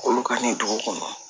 K'olu ka nin dugu kɔnɔ